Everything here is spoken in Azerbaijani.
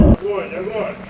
Dayan, dayan!